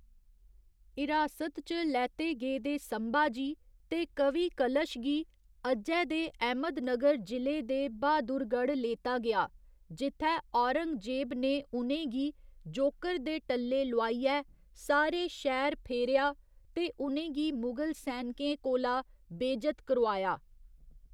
हिरासत च लैते गेदे संभाजी ते कवि कलश गी अज्जै दे अहमदनगर जिले दे बहादुरगढ़ लेता गेआ, जित्थै औरंगजेब ने उ'नें गी जोकर दे टल्ले लोआइयै सारे शैह्‌र फेरेआ ते उ'नें गी मुगल सैनकें कोला बेजत करोआया।